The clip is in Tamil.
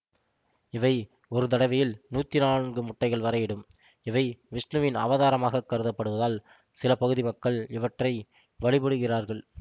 இவை ஒரு தடவையில் நூற்றி நான்கு முட்டைகள்வரை இடும் இவை விஷ்ணுவின் அவதாரமாகக் கருதப்படுவதால் சில பகுதி மக்கள் இவற்றை வழிபடுகிறார்கள்